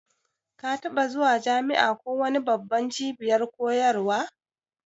Ka taɓa zuwa jami'a ko wani babban cibiyar koyarwa?